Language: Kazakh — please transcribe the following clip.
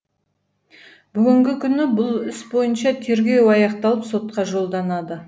бүгінгі күні бұл іс бойынша тергеу аяқталып сотқа жолданды